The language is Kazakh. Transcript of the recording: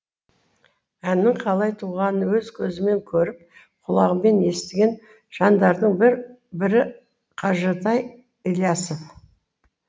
әннің қалай туғанын өз көзімен көріп құлағымен естіген жандардың бірі қажытай ілиясов